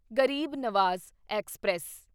Garib Nawaz express